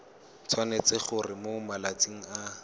tshwanetse gore mo malatsing a